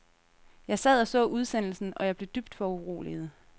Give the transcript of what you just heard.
Jeg sad og så udsendelsen, og jeg blev dybt foruroliget.